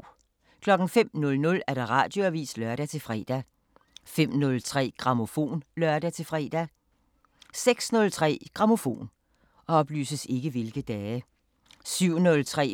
05:00: Radioavisen (lør-fre) 05:03: Grammofon (lør-fre) 06:03: Grammofon 07:03: